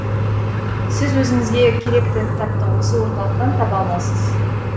сіз өзіңізге керекті кітапты осы орталықтан таба аласыз